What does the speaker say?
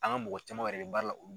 An ka mɔgɔ caman yɛrɛ bɛ baaraa la